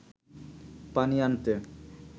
পানি আনতে